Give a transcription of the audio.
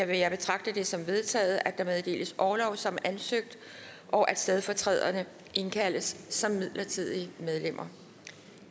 vil jeg betragte det som vedtaget at der meddeles orlov som ansøgt og at stedfortræderne indkaldes som midlertidige medlemmer